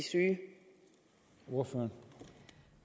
unge